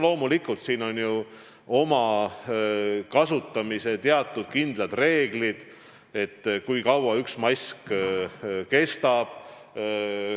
Loomulikult siin on kasutamisel teatud kindlad reeglid, näiteks, kui kaua üks mask kestab.